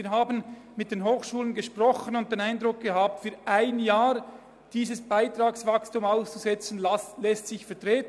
Wir haben mit den Hochschulen gesprochen und den Eindruck gewonnen, es lasse sich vertreten, dieses Beitragswachstum für ein Jahr auszusetzen.